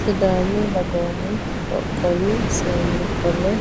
Sidaamu dagoomu qoqowu seeni qolo